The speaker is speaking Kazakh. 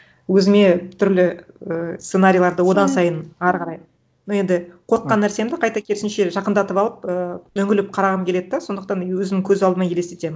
өзіме түрлі ііі сценарийларды одан сайын ары қарай ну енді қорыққан нәрсемді қайта керісінше жақындатып алып ііі үңіліп қарағым келеді да сондықтан өзім көз алдыма елестетемін